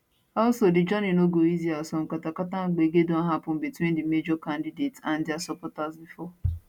also di journey no go easy as some katakata and gbege don happun between di major candidates and dia supporters bifor